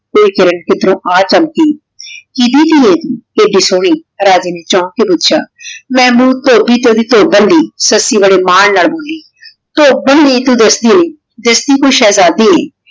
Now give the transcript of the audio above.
ਆਯ ਕਿਰਣ ਕਿਦ੍ਰੋੰ ਆ ਚਮਕੀ ਇਹੀ ਟੀ ਆਯ ਏਡੀ ਸੋਹਨੀ ਰਾਜੇ ਨੇ ਚੌੰਕ ਕੇ ਪੋਚ੍ਯਾ ਮੇਬੂਬ ਧੋਭੀ ਤੇ ਓੜੀ ਧੋਬਨ ਦੀ ਸੱਸੀ ਬਾਰੇ ਮਾਨ ਨਾ ਮਿਲੀ ਧੋਬਨ ਨਾਈ ਤੂ ਦਸਦੀ ਦਸਦੀ ਤੂ ਸੇਹੇਜ਼ਾਦੀ